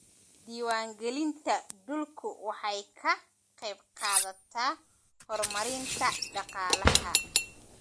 Diiwaangelinta dhulku waxay ka qaybqaadataa horumarinta dhaqaalaha.